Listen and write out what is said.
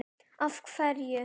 Hvað af hverju?